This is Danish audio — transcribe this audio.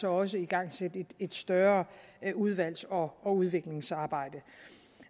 også igangsætte et større udvalgs og udviklingsarbejde